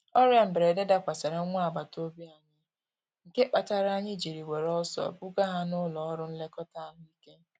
Ọrịa mberede dakwasara nwa agbata obi anyị, nke kpatara anyị jiri were ọsọ buga ha n'ụlọ ọrụ nlekọta ahụ ike.